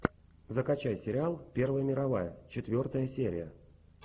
закачай сериал первая мировая четвертая серия